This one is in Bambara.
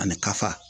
Ani kafa